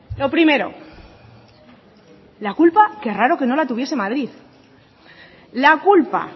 lo primero la culpa qué raro que no la tuviese madrid la culpa